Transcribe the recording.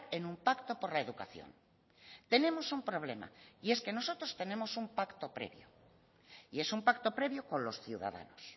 en un pacto por la educación tenemos un problema y es que nosotros tenemos un pacto previo y es un pacto previo con los ciudadanos